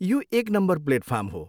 यो एक number platform हो।